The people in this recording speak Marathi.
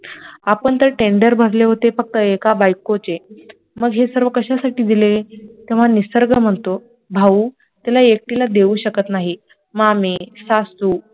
आपण तर tender भरले होते फक्त एका बायकोचे मग हे सर्व कशा साठी दिले, तेव्हा निसर्ग म्हणतो भाऊ तिला एकटीला देऊ शकत नाही, मामे- सासू